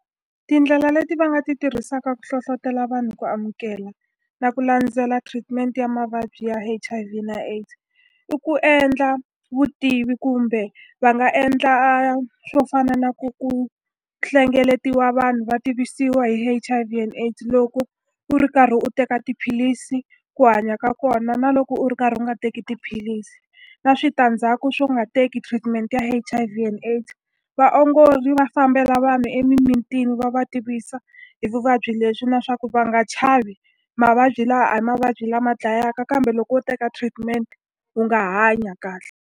Tindlela leti va nga ti tirhisaka ku hlohlotelo vanhu ku amukela na ku landzela treatment ya mavabyi ya H_I_V na AIDS, i ku endla vutivi. Kumbe va nga endla swo fana na ku ku hlengeletiwa vanhu va tivisiwa hi H_I_V and AIDS, loko u ri karhi u teka tiphilisi, ku hanya ka kona, na loko u ri karhi u nga teki tiphilisi, na switandzhaku swo nga teki treatment ya H_I_V and AIDS. Vaongori va fambela vanhu emimitini va va tivisa hi vuvabyi lebyi na leswaku va nga chavi, mavabyi lawa a hi mavabyi lama dlayaka kambe loko wo teka treatment u nga hanya kahle.